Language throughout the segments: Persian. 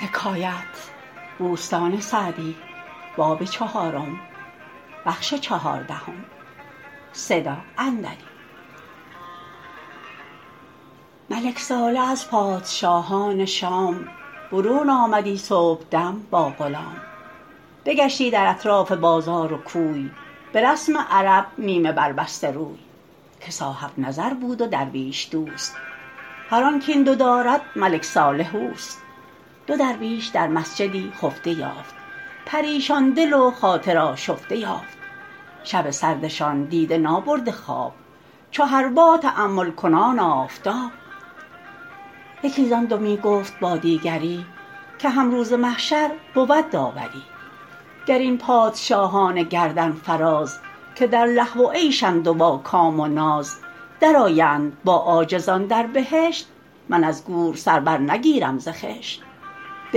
ملک صالح از پادشاهان شام برون آمدی صبحدم با غلام بگشتی در اطراف بازار و کوی به رسم عرب نیمه بر بسته روی که صاحب نظر بود و درویش دوست هر آن کاین دو دارد ملک صالح اوست دو درویش در مسجدی خفته یافت پریشان دل و خاطر آشفته یافت شب سردشان دیده نابرده خواب چو حربا تأمل کنان آفتاب یکی زآن دو می گفت با دیگری که هم روز محشر بود داوری گر این پادشاهان گردن فراز که در لهو و عیشند و با کام و ناز در آیند با عاجزان در بهشت من از گور سر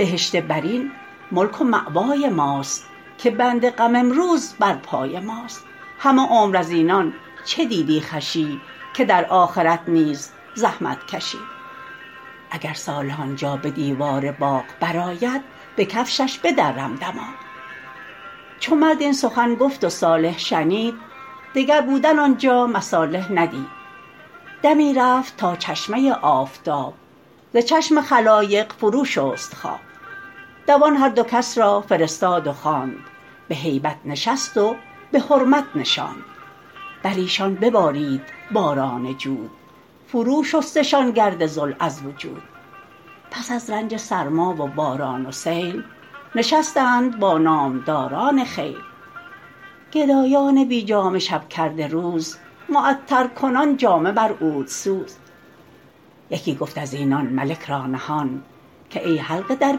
بر نگیرم ز خشت بهشت برین ملک و مأوای ماست که بند غم امروز بر پای ماست همه عمر از اینان چه دیدی خوشی که در آخرت نیز زحمت کشی اگر صالح آنجا به دیوار باغ بر آید به کفتش بدرم دماغ چو مرد این سخن گفت و صالح شنید دگر بودن آنجا مصالح ندید دمی رفت تا چشمه آفتاب ز چشم خلایق فرو شست خواب دوان هر دو را کس فرستاد و خواند به هیبت نشست و به حرمت نشاند بر ایشان ببارید باران جود فرو شستشان گرد ذل از وجود پس از رنج سرما و باران و سیل نشستند با نامداران خیل گدایان بی جامه شب کرده روز معطر کنان جامه بر عود سوز یکی گفت از اینان ملک را نهان که ای حلقه در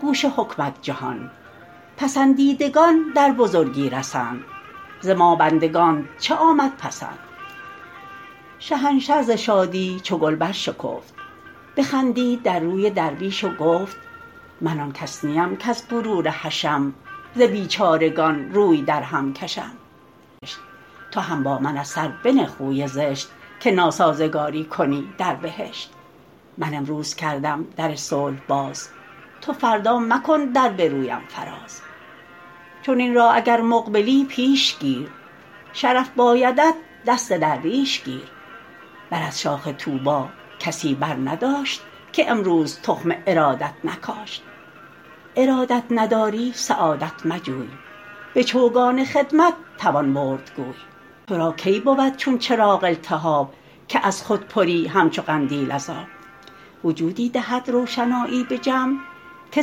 گوش حکمت جهان پسندیدگان در بزرگی رسند ز ما بندگانت چه آمد پسند شهنشه ز شادی چو گل بر شکفت بخندید در روی درویش و گفت من آن کس نیم کز غرور حشم ز بیچارگان روی در هم کشم تو هم با من از سر بنه خوی زشت که ناسازگاری کنی در بهشت من امروز کردم در صلح باز تو فردا مکن در به رویم فراز چنین راه اگر مقبلی پیش گیر شرف بایدت دست درویش گیر بر از شاخ طوبی کسی بر نداشت که امروز تخم ارادت نکاشت ارادت نداری سعادت مجوی به چوگان خدمت توان برد گوی تو را کی بود چون چراغ التهاب که از خود پری همچو قندیل از آب وجودی دهد روشنایی به جمع که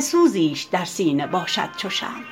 سوزیش در سینه باشد چو شمع